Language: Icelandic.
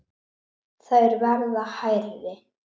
Þær verða hærri.